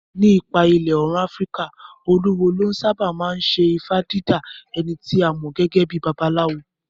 Ní apá ìlà Òòrùn Afíríkà, olúwo ló sáábà máa ń ṣe ifá dídá, ẹni tí a mọ̀ gẹ́gẹ́ bíi babaláwo.